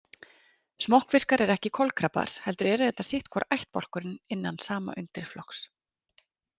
Smokkfiskar eru ekki kolkrabbar heldur eru þetta sitt hvor ættbálkurinn innan sama undirflokks.